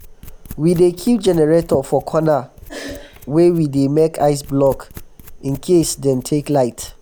we dey keep generator for corner um wen we dey make ice block in case um dem take light.